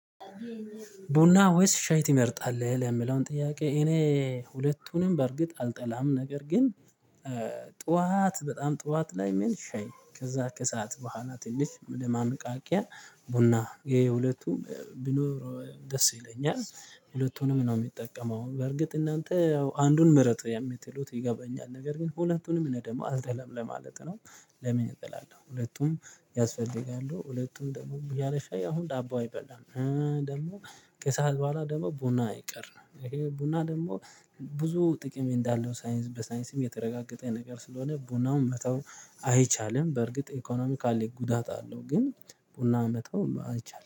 ቡና ወይስ ሻይ ትመርጣለህ ለሚለው ጥያቄ እኔ ሁለቱንም በእርግጥ አልጠላም ነገር ግን ጠዋት በጣም ጠዋት ላይ ምን ሻይ ከዛ ከሰአት በኋላ ትልቅ ለማንቃቂያ ቡና ይሄ ሁለቱም ቢኖረው ደስ ይለኛል ሁለቱንም ነው የሚጠቀመው በርግጥ እናንተ ያው አንዱን ምርጡ የምትሉት ይገባኛል ነገር ግን ሁለቱንም እኔ ደግሞ አልጠላም ለማለት ነው። ለምን እጠላለሁ ሁለቱም ያስፈልጋሉ ሁለቱም ደግሞ ያለሻይ አሁን ዳቦ አይበላም። ደግሞ ከሰአት በኋላ ደግሞ ቡና አይቀር ነው። ይሄ ቡና ደግሞ ብዙ ጥቅም እንዳለው ሳይንስ በሳይንስም የተረጋገጠ ነገር ስለሆነ ቡናውን መተው አይቻልም። በርግጥ ኢኮኖሚካሊ ጉዳት አለው ግን ቡና መተው አይቻልም